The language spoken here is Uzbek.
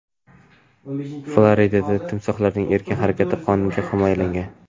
Floridada timsoxlarning erkin harakati qonunan himoyalangan.